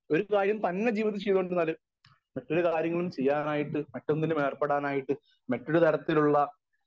speaker 1 അതിനുപകരം ഒരു കാര്യം തന്നെ ജീവിതത്തിൽ ചെയ്തുകൊണ്ടിരുന്നാലും മറ്റൊരു കാര്യം ചെയ്യാനായിട്ട് മറ്റൊന്നിലും ഏർപ്പെടാനായിട്ട് മറ്റൊരുതരത്തിലുള്ള